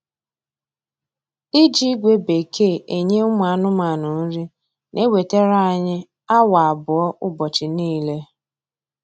Iji ígwè bekee eṅye ụmụ anụmanụ nri na ewetere anyị awa abụọ ụbọchị niile